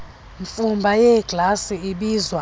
mfumba yeeglasi ibiza